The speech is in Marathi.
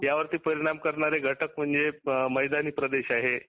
यावरती परिणाम करणारे घटक मैदानी प्रदेश आहे.